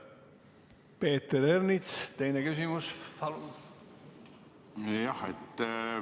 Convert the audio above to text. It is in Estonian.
Peeter Ernits, teine küsimus, palun!